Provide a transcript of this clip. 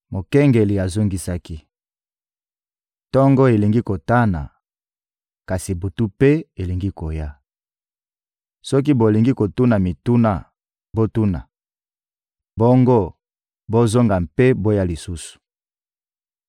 Mokengeli azongisaki: Tongo elingi kotana, kasi butu mpe elingi koya. Soki bolingi kotuna mituna, botuna; bongo bozonga mpe boya lisusu.